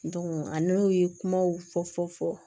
an n'o ye kumaw fɔ fɔ